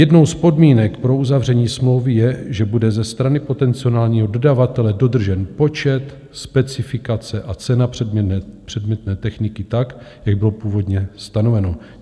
Jednou z podmínek pro uzavření smlouvy je, že bude ze strany potenciálního dodavatele dodržen počet, specifikace a cena předmětné techniky tak, jak bylo původně stanoveno.